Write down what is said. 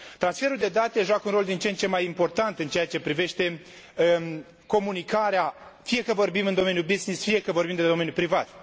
Transferul de date joacă un rol din ce în ce mai important în ceea ce privește comunicarea, fie că vorbim în domeniul business, fie că vorbim de domeniul privat.